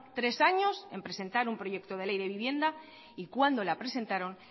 tres años en presentar un proyecto de ley de vivienda y cuando la presentaron